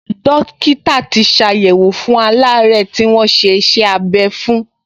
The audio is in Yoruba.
Dọ́kítà tì ṣàyẹ̀wò fún aláàárẹ̀ tí wọ́n ṣe iṣẹ́-abẹ́ fún